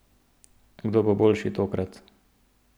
Kdo bo boljši tokrat?